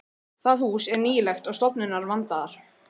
Það hús er nýlegt og stofurnar vandaðar.